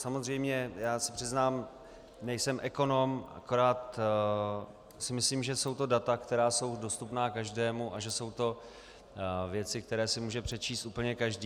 Samozřejmě, já se přiznám, nejsem ekonom, akorát si myslím, že jsou to data, která jsou dostupná každému, a že jsou to věci, které si může přečíst úplně každý.